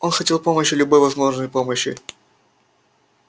он хотел помощи любой возможной помощи